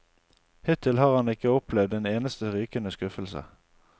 Hittil har han ikke opplevd en eneste rykende skuffelse.